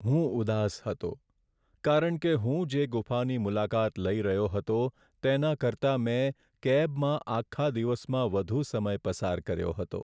ઉદાસ હતો કારણ કે હું જે ગુફાની મુલાકાત લઈ રહ્યો હતો તેના કરતાં મેં કેબમાં આખા દિવસમાં વધુ સમય પસાર કર્યો હતો.